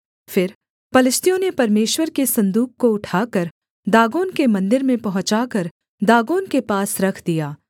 फिर पलिश्तियों ने परमेश्वर के सन्दूक को उठाकर दागोन के मन्दिर में पहुँचाकर दागोन के पास रख दिया